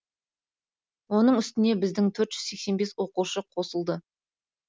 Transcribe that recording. оның үстіне біздің төрт жүз сексен бес оқушы қосылды